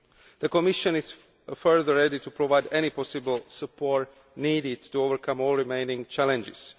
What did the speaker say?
The Commission is further ready to provide any possible support needed to overcome all the remaining challenges.